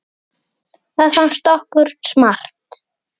Það fannst okkur smart.